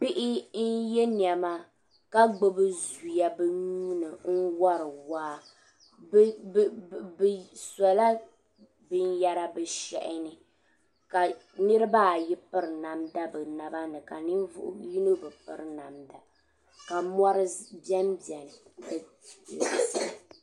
Bihi n-ye nɛma ka gbibi zuya bɛ nuhi ni wari waa bɛ sɔla binyɛra bɛ shɛhi ni ka niriba ayi piri namda bɛ naba ni ka ninvuɣ' yino bi piri namda ka mɔri bembe ni.